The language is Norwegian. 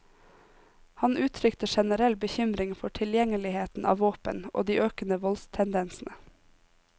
Han uttrykte generell bekymring for tilgjengeligheten av våpen og de økende voldstendensene.